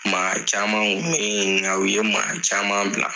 Maa caman kun bi nga u ye maa caman bila.